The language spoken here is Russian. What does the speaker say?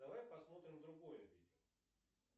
давай посмотрим другое видео